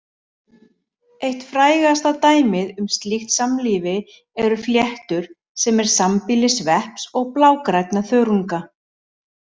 Eitt frægasta dæmið um slíkt samlífi eru fléttur sem er sambýli svepps og blágrænna þörunga.